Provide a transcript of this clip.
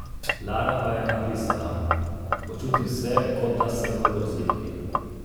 Lara pa je napisala: "Počutim se, kot da sem v grozljivki.